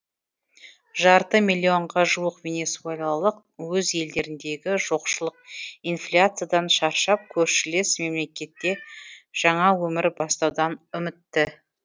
жарты миллионға жуық венесуэлалық өз елдеріндегі жоқшылық инфляциядан шаршап көршілес мемлекетте жаңа өмір бастаудан үмітті